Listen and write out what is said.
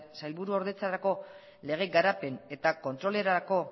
sailburu ordetzerako lege garapen eta kontrolerako